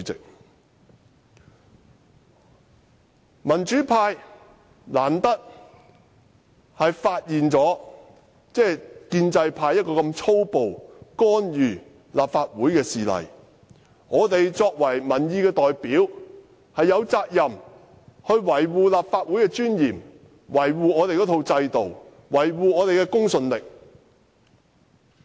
難得民主派發現建制派如此粗暴干預立法會的事例，作為民意代表，我們有責任維護立法會的尊嚴、制度和公信力。